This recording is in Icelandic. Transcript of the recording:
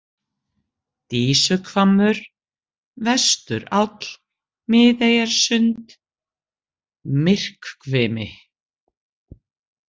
Dísuhvammur, Vesturáll, Miðeyjarsund, Myrkvkimi